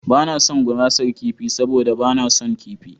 Ba na son gurasar kifi saboda ba na son kifi.